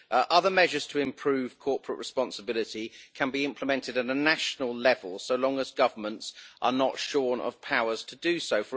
Other measures to improve corporate responsibility can be implemented at a national level, so long as governments are not shorn of powers to do so.